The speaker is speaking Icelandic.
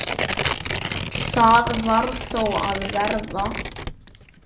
Það varð þó að verða.